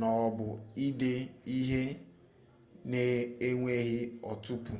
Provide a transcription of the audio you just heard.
m'ọbụ ide ihe n'enweghị ntụpọ